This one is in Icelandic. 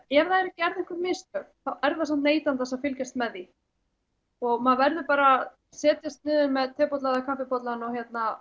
ef það eru gerð einhver mistök er það samt neytandans að fylgjast með því og maður verður bara að setjast niður með tebolla eða kaffibolla og